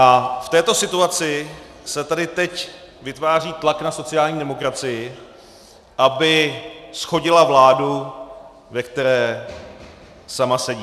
A v této situaci se tedy teď vytváří tlak na sociální demokracii, aby shodila vládu, ve které sama sedí.